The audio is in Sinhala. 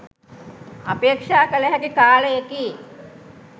අපේක්‍ෂා කළ හැකි කාලයකි